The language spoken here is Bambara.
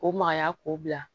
O magaya k'o bila